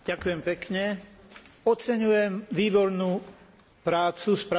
Oceňujem výbornú prácu spravodajcu Jelka Kacina.